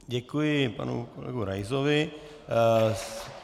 Děkuji panu kolegovi Raisovi.